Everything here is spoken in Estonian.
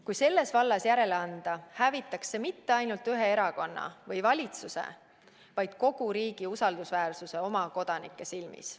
Kui selles vallas järele anda, hävitataks see mitte ainult ühe erakonna või valitsuse, vaid kogu riigi usaldusväärsuse oma kodanike silmis.